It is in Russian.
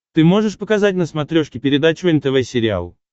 ты можешь показать на смотрешке передачу нтв сериал